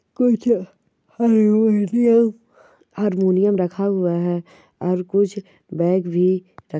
कुछ harmonium harmonium रखा हुआ है और कुछ बेग भी --